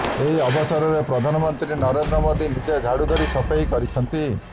ଏହି ଅବସରରେ ପ୍ରଧାନ ମନ୍ତ୍ରୀ ନରେନ୍ଦ୍ର ମୋଦି ନିଜେ ଝାଡୁ ଧରି ସଫେଇ କରିଛନ୍ତି